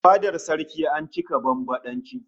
A fadar saraki an cika bambadanci